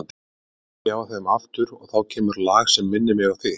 Nú kveiki ég á þeim aftur og þá kemur lag sem minnir mig á þig.